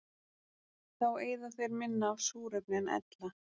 Þá eyða þeir minna af súrefni en ella.